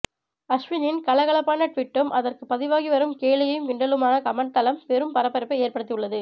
அஸ்வினின் கலகலப்பான ட்வீட்டும் அதற்கு பதிவாகி வரும் கேலியும் கிண்டலுமாக கமெண்ட் தளம் பெரும் பரபரப்பை ஏற்படுத்தி உள்ளது